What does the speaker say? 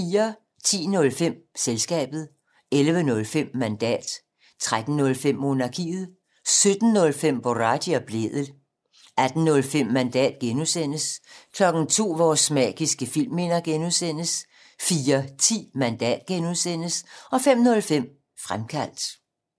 10:05: Selskabet 11:05: Mandat 13:05: Monarkiet 17:05: Boraghi og Blædel 18:05: Mandat (G) 02:00: Vores magiske filmminder (G) 04:10: Mandat (G) 05:05: Fremkaldt